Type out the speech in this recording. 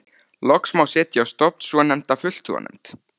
Loks má setja á stofn svo nefnda fulltrúanefnd.